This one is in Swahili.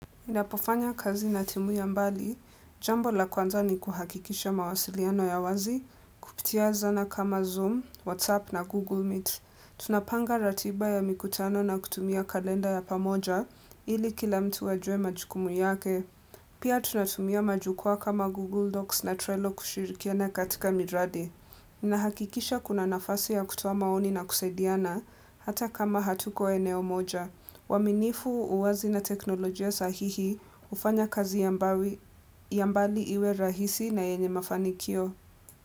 Ninapofanya kazi na timu ya mbali, jambo la kwanza ni kuhakikisha mawasiliano ya wazi, kupitia zana kama Zoom, WhatsApp na Google Meet. Tunapanga ratiba ya mikutano na kutumia kalenda ya pamoja, ili kila mtu wajue majukumu yake. Pia tunatumia majukwa kama Google Docs na Trello kushirikiana katika miradi. Ninahakikisha kuna nafasi ya kutoa maoni na kusaidiana, hata kama hatuko eneo moja. Uaminifu uwazi na teknolojia sahihi hufanya kazi yambali iwe rahisi na yenye mafanikio.